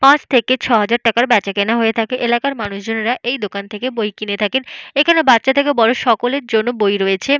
পাঁচ থেকে ছ''হাজার টাকার বেচাকেনা হয়ে থাকে। এলাকার মানুষজনের এই দোকান থেকে বই কিনে থাকেন। এখানে বাচ্চা থেকে বড় সকলের জন্য বই রয়েছে।